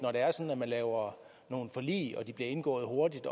når man laver forlig og de bliver indgået hurtigt